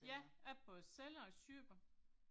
Ja, jeg både sælger og køber